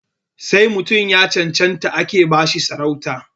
Sai mutum ya cancanta ake ba shi sarauta